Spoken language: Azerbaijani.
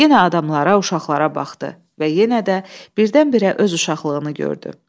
Yenə adamlara, uşaqlara baxdı və yenə də birdən-birə öz uşaqlığını gördü.